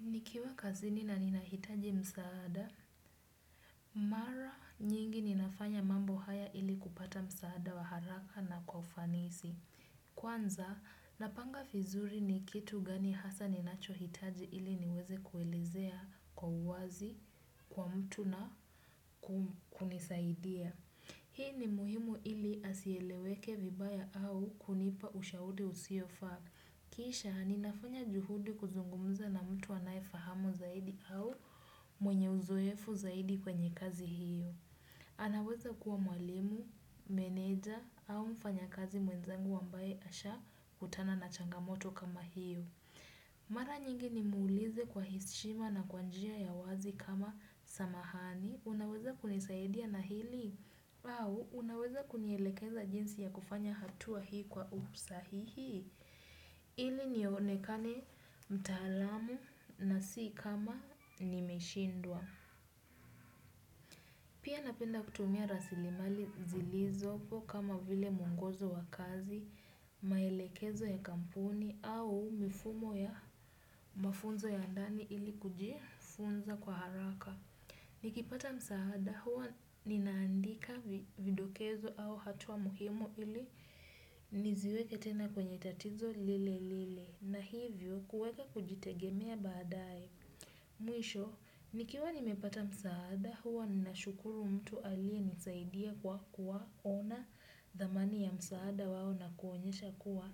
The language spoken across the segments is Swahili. Nikiwa kazini na ninahitaji msaada, mara nyingi ninafanya mambo haya ili kupata msaada wa haraka na kwa ufanisi. Kwanza, napanga vizuri ni kitu gani hasa ninachohitaji ili niweze kuelezea kwa uwazi, kwa mtu na kunisaidia. Hii ni muhimu ili asieleweke vibaya au kunipa ushauri usiofaa. Kisha ninafanya juhudi kuzungumza na mtu anayefahamu zaidi au mwenye uzoefu zaidi kwenye kazi hiyo. Anaweza kuwa mwalimu, meneja au mfanyakazi mwenzangu ambaye asha kutana na changamoto kama hiyo. Mara nyingi nimuulize kwa heshima na kwa njia ya uwazi kama samahani. Unaweza kunisaidia na hili? Au, unaweza kunielekeza jinsi ya kufanya hatua hii kwa usahihi? Ili nionekane mtaalamu na si kama nimeshindwa. Pia napenda kutumia rasilimali zilizopo kama vile mwongozo wa kazi, maelekezo ya kampuni au mifumo ya mafunzo ya ndani ili kujifunza kwa haraka. Nikipata msaada huwa ninaandika vidokezo au hatua muhimu ili niziweke tena kwenye tatizo lile lile. Na hivyo kuweka kujitegemea baadae. Mwisho, nikiwa nimepata msaada huwa ninashukuru mtu aliyenisaidia kwa kuwaona dhamani ya msaada wao na kuonyesha kuwa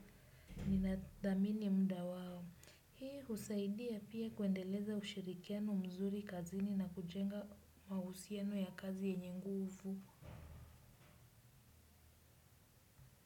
ninadhamini muda wao. Hii husaidia pia kuendeleza ushirikiano mzuri kazini na kujenga mahusiano ya kazi yenye nguvu.